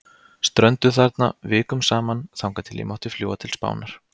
Strönduð þarna, vikum saman, þangað til ég mátti fljúga til Spánar.